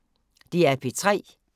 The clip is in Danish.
DR P3